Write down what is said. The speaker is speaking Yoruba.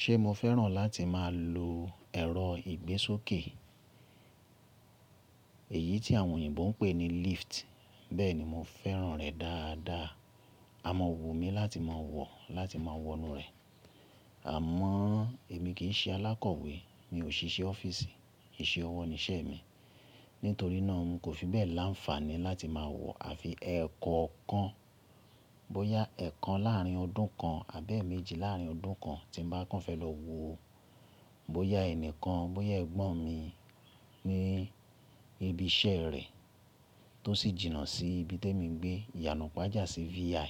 Ṣe mo fẹ́ràn láti má a lo ẹ̀rọ ìgbésókè, èyí tí àwọn oyìnbó ń pè ní lift. Bẹ́ẹ̀ni mo fẹ́ràn rẹ̀ dáadáa. A maa wù mí láti má a wọ̀, láti má a wọnú rẹ̀. Àmọ́ èmi kì í ṣe alákọ̀wé, mi ò ṣíṣe ọ́fíìsì, ìṣe ọwọ́ ni iṣẹ́ mi. Nítorí náà nkò fi bẹ́ẹ̀ láǹfààní láti má a wọ àfi ẹ̀ẹ̀ko kan, bóyá ẹ̀ẹ̀kan láàrin ọdún kan àbi eeméjì láàrin ọdún kan tí mo bá kàn fẹ́ lọ wo. Bóyá ẹni kan, bóyá ẹ̀gbọ́n mi ní ibi iṣẹ́ rẹ̀ tó sì jìnnà sí ibi temi n gbé, ìyànú pàjá sì VI,